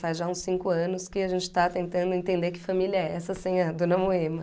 Faz já uns cinco anos que a gente está tentando entender que família é essa sem a dona Moema.